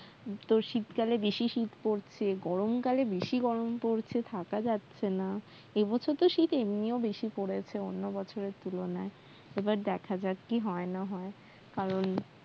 তো শীত কালে বেশি শীত পড়ছে গরমকালে বেশি গরম পড়ছে থাকা যাচ্ছে না এ বছর তো শীত এমনিও বেশি পরেছে অন্য বছরের তুলনায় এবার দেখা যাক কি হয় না হয় কারণ